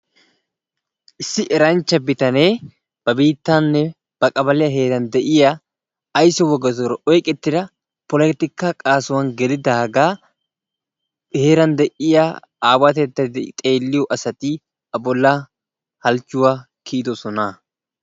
Issi eranchca bitanee ba biittanne ba kabaliya heeran de'iyaa aysso wogaatuura oyqqetidda polotikka qaattan gelidaagaa a heeran de'iyaa aawatettay asati a bolla halchchuwaa kiyyidoosona.